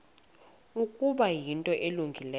ukuba yinto elungileyo